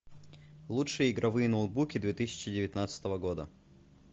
лучшие игровые ноутбуки две тысячи девятнадцатого года